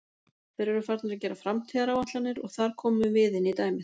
Þeir eru farnir að gera framtíðaráætlanir og þar komum við inní dæmið.